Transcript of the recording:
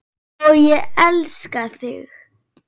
Og ég elska þig!